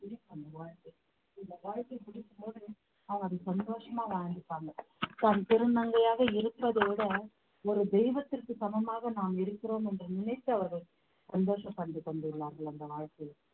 பிடிக்கும் வாழ்க்கை இந்த வாழ்க்கை பிடிக்கும் பொது அவங்க அத சந்தோஷமா வாழ்ந்துப்பாங்க தான் திருநங்கையாக இருப்பதோட ஒரு தெய்வத்திற்கு சமமாக நாம் இருக்கிறோம் என்று நினைத்து அவர்கள் சந்தோஷப்பண்டுக் கொண்டுள்ளார்கள் அந்த வாழ்க்கையில்